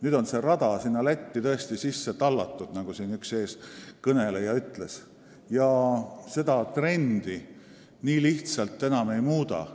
Nüüd on see rada Lätti tõesti sisse tallatud, nagu üks eelkõneleja ütles, ja seda trendi nii lihtsalt enam ei muuda.